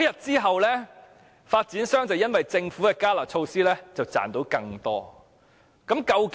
自那天起，因為政府的"加辣"措施，發展商賺得更多利潤。